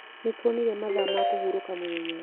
Nĩntonire mathaa ma kũhurũka mũthenya.